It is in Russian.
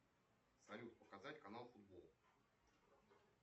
салют показать канал футбол